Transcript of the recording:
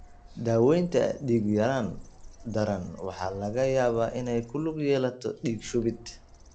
Daawaynta dhiig-yaraan daran waxa laga yaabaa inay ku lug yeelato dhiig-shubid.